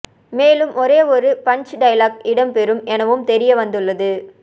மேலும் ஒரே ஒரு பன்ச் டயலாக் இடம் பெறும் எனவும் தெரிய வந்துள்ளது